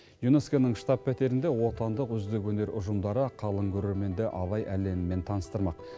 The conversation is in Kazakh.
юнеско ның штаб пәтерінде отандық үздік өнер ұжымдары қалың көрерменді абай әлемімен таныстырмақ